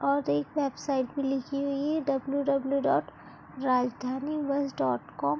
और एक website भी लिखी हुई है W W dot Rajdhani bus dot com --